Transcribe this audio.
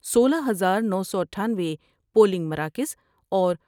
سولہ ہزار نو سو اٹھانوے پولنگ مراکز اور ۔